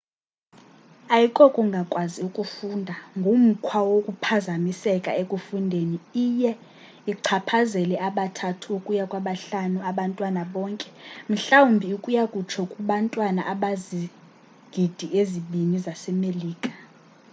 ayikokungakwazi ukufunda ngumkhwa wokuphazamiseka ekufundeni; iye ichaphazele aba 3 ukuya kwaba 5 abantwana bonke mhlawumbi ukuya kutsho kubantwana abakwizigidi ezibini zase melika